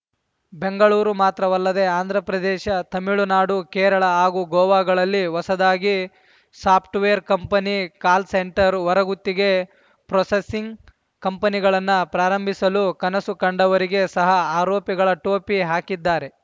ಬೆಂಗಳೂರು ಮಾತ್ರವಲ್ಲದೆ ಆಂಧ್ರಪ್ರದೇಶ ತಮಿಳುನಾಡು ಕೇರಳ ಹಾಗೂ ಗೋವಾಗಳಲ್ಲಿ ಹೊಸದಾಗಿ ಸಾಪ್ಟ್ ವೇರ್‌ ಕಂಪನಿ ಕಾಲ್‌ಸೆಂಟರ್‌ ಹೊರಗುತ್ತಿಗೆ ಪ್ರೊಸೆಸಿಂಗ್‌ ಕಂಪನಿಗಳನ್ನ ಪ್ರಾರಂಭಿಸಲು ಕನಸು ಕಂಡವರಿಗೆ ಸಹ ಆರೋಪಿಗಳ ಟೋಪಿ ಹಾಕಿದ್ದಾರೆ